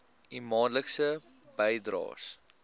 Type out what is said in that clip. u maandelikse bydraes